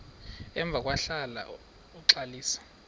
emva kwahlala uxalisa